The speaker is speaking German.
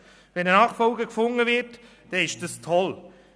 Wird ein Nachfolger gefunden, ist das toll.